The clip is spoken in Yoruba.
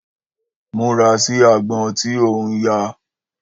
Múra sí àgbon tí òuń ya